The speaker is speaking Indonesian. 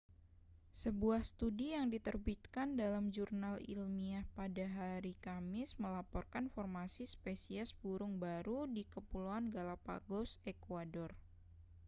sebuah studi yang diterbitkan dalam jurnal ilmiah pada haris kamis melaporkan formasi spesies burung baru di kepulauan galã¡pagos ekuador